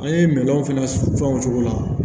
An ye mɛlɔn fana fɛn o cogo la